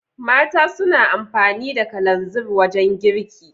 Mata suna amfani da kalanzir wajan girki